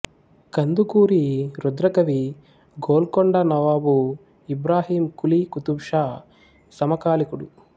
Kandukuri Rudrakavi Golconda nawab Ibrahim Quli Qutb Shah సమకాలీకుడు